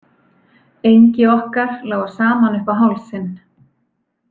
Engi okkar lágu saman upp á hálsinn.